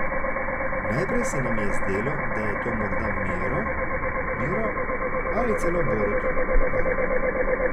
Najprej se nam je zdelo, da je to morda Miro, Miro ali celo Borut, Borut ...